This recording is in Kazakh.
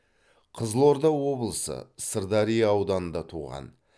қызылорда облысы сырдария ауданында туған